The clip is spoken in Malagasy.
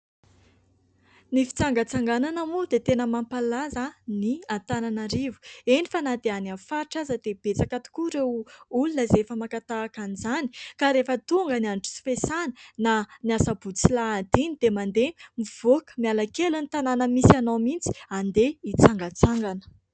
Ny fitsangatsanganana moa dia tena mampalaza ny Antananarivo. Eny fa na dia any amin'ny faritra aza dia betsaka tokoa ireo olona izay efa maka tahaka an'izany ka rehefa tonga ny andro tsy fiasana, na ny Sabotsy sy Alahady dia mandeha mivoaka miala kely ny tanàna misy anao mihitsy andeha hitsangatsangana.